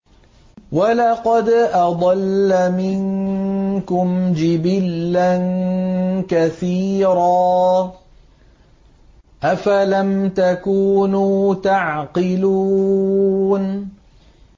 وَلَقَدْ أَضَلَّ مِنكُمْ جِبِلًّا كَثِيرًا ۖ أَفَلَمْ تَكُونُوا تَعْقِلُونَ